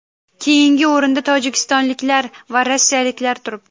Keyingi o‘rinda tojikistonliklar va rossiyaliklar turibdi.